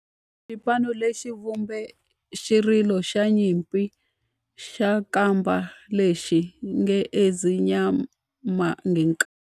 Xipano lexi xi vumbe xirilo xa nyimpi xa kampa lexi nge 'Ezimnyama Ngenkani'.